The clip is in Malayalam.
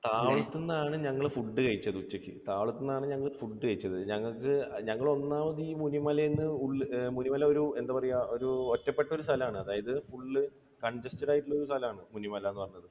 താവളത്തുനിന്ന് ആണ് ഞങ്ങൾ food കഴിച്ചത് ഉച്ചയ്ക്ക്. താവളത്തുനിന്ന് ഞങ്ങൾ food കഴിച്ചത്. ഞങ്ങൾക്ക് ഞങ്ങൾ ഒന്നാമത് ഈ മുനിമലയിൽ നിന്ന്, മുനിമല ഒരു എന്താ പറയുക ഒരു ഒറ്റപ്പെട്ട ഒരു സ്ഥലമാണ് അതായത് full congested ആയിട്ടുള്ള ഒരു സ്ഥലമാണ് മുനിമല എന്ന് പറയുന്നത്.